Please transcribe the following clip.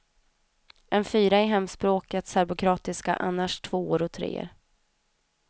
En fyra i hemspråket serbokroatiska, annars tvåor och treor.